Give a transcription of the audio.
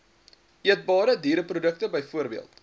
eetbare diereprodukte bv